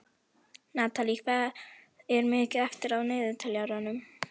Natalí, hvað er mikið eftir af niðurteljaranum?